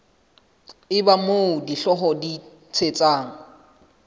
eba moo dihlooho di thetsang